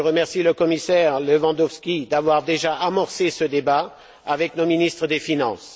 Je remercie le commissaire Lewandowski d'avoir déjà amorcé ce débat avec nos ministres des finances.